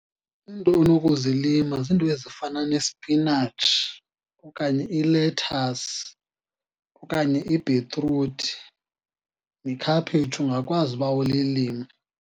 Iinto onokuzilima ziinto ezifana nespinatshi, okanye ilethasi, okanye ibhitruthi, nekhaphetshu ungakwazi uba ulilime.